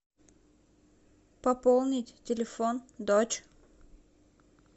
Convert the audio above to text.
пополнить телефон дочь